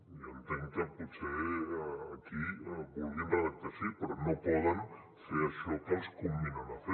jo entenc que potser aquí ho vulguin redactar així però no poden fer això que els comminen a fer